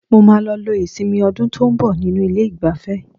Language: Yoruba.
Mo máa lọ lo ìsinmi ọdún tó ń bọ̀ nínú ilé-ìgbafẹ́.